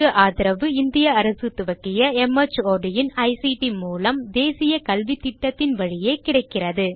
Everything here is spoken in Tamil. இதற்கு ஆதரவு இந்திய அரசு துவக்கிய மார்ட் இன் ஐசிடி மூலம் தேசிய கல்வித்திட்டத்தின் வழியே கிடைக்கிறது